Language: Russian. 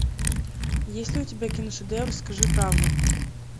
есть ли у тебя киношедевр скажи правду